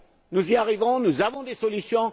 Nous y arriverons, nous avons des solutions.